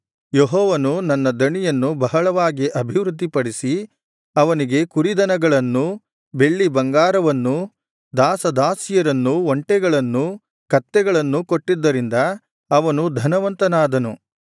ಯೆಹೋವನು ನನ್ನ ದಣಿಯನ್ನು ಬಹಳವಾಗಿ ಅಭಿವೃದ್ಧಿಪಡಿಸಿ ಅವನಿಗೆ ಕುರಿದನಗಳನ್ನೂ ಬೆಳ್ಳಿ ಬಂಗಾರವನ್ನೂ ದಾಸದಾಸಿಯರನ್ನೂ ಒಂಟೆಗಳನ್ನೂ ಕತ್ತೆಗಳನ್ನೂ ಕೊಟ್ಟಿದ್ದರಿಂದ ಅವನು ಧನವಂತನಾದನು